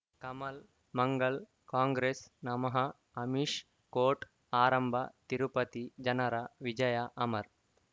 ಕಮಲ್ ಮಂಗಳ್ ಕಾಂಗ್ರೆಸ್ ನಮಃ ಅಮಿಷ್ ಕೋರ್ಟ್ ಆರಂಭ ತಿರುಪತಿ ಜನರ ವಿಜಯ ಅಮರ್